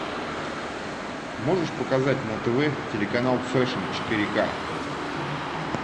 можешь показать на тв телеканал фэшн четыре ка